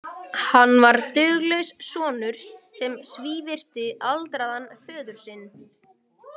Hann var duglaus sonur sem svívirti aldraðan föður sinn.